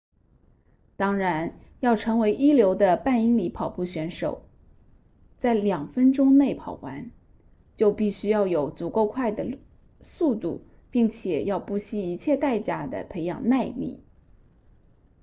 当然要成为一流的半英里跑步选手在两分钟内跑完就必须要有足够快的速度并且要不惜一切代价地培养耐力